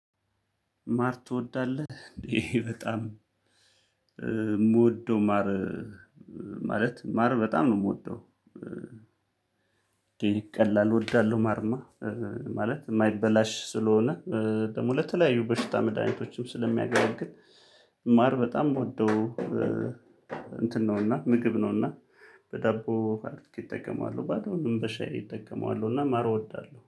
ማር ትወዳለህ እንዴ? በጣም እምወደው ማር ማለት ማር በጣም ነው የምወደው። ቀላል እወዳለሁ። ማርማ ማለት የማይበላሽ ስለሆነ ደግሞ ለተለያዩ በሽታ መድሃኒቶችም ስለሚያገለግል ማር በጣም ምወደው። እንትን ነው እና ምግብ ነው። እና በዳቦ ካርት ይጠቀማሉ ባዶዉንም በሻይ እጠቀመዋለው እና ማር እወዳለሁ